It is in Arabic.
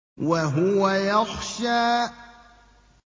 وَهُوَ يَخْشَىٰ